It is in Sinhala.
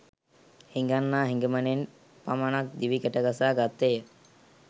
හිඟන්නා හිඟමනෙන් පමණක්ම දිවි ගැටගසා ගත්තේ ය